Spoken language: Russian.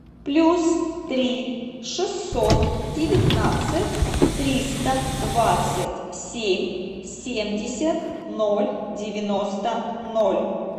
плюс три шестьсот девятнадцать триста двадцать семь семьдесят ноль девяносто ноль